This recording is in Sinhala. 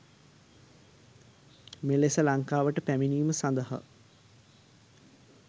මෙලෙස ලංකාවට පැමිණීම සඳහා